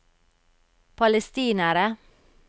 palestinere